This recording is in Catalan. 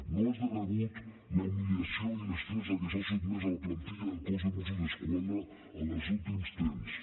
no és de rebut la humiliació i l’estrès a què s’ha sotmès la plantilla del cos de mossos d’esquadra en els últims temps